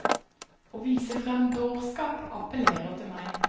Å vise frem dårskap appellerer til meg.